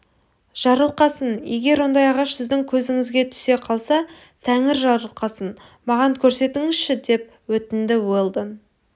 жарылқасын егер ондай ағаш сіздің көзіңізге түсе қалса тәңір жарылқасын маған көрсетіңізші деп өтінді уэлдон